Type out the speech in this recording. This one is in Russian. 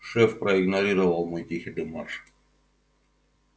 шеф проигнорировал мой тихий демарш